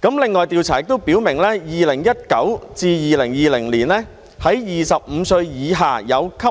另外，調查亦顯示，在2019年至2020年 ，25 歲以下有吸